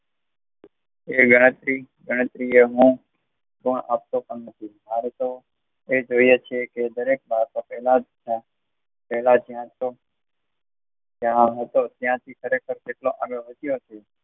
એ ગલણત્રી ગલણત્રી એ હું મારે એ જોઇએ છે કે દરેક લાવતા પહેલા જ્યા જ્યાં હતો ત્યાંથી ખરેખર કેટલા આગળ વધ્યા છીએ